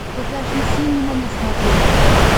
покажи синема на смотрешке